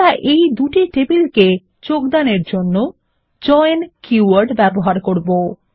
আমরা এই দুই টেবিল এর যোগদানের জন্য জয়েন কী ওয়ার্ড ব্যবহার করবো